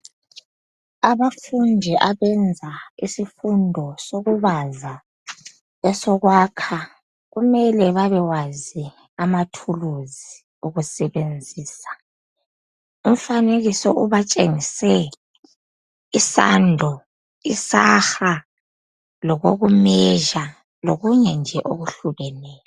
abafundi abayenza isifundo sokubaza esokwakha kumele babekwazi amathuluzi okusebenzisa umfanekiso ubatshengise isando isaha lokokumeasure lokunye nje okuhlukeneyo